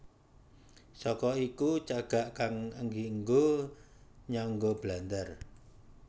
Saka iku cagak kang dienggo nyangga blandar